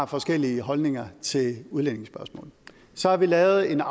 forskellige holdninger til udlændingespørgsmålet så har vi lavet en